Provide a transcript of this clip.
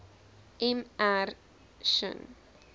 m r shinn